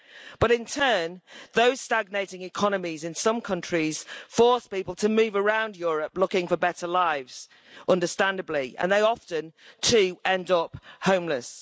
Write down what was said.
But in turn, those stagnating economies in some countries force people to move around Europe looking for better lives, understandably, and they often, too, end up homeless.